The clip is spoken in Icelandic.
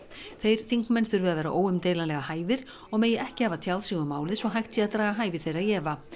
þeir þingmenn þurfi að vera óumdeilanlega hæfir og megi ekki hafa tjáð sig um málið svo hægt sé að draga hæfi þeirra í efa